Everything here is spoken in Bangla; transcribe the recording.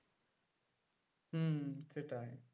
হম সেটাই